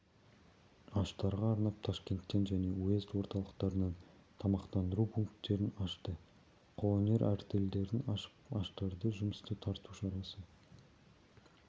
аштарға арнап ташкенттен және уезд орталықтарынан тамақтандыру пункттерін ашты қолөнер артельдерін ашып аштарды жұмысқа тарту шарасы